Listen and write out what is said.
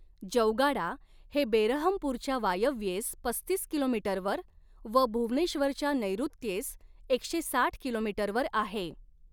जौगाडा हे बेरहमपूरच्या वायव्येस पस्तीस किलोमीटरवर व भुवनेश्वरच्या नैऋत्येस एकशे साठ किलोमीटरवर आहे.